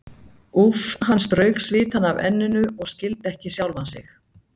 Úff, hann strauk svitann af enninu og skildi ekki sjálfan sig.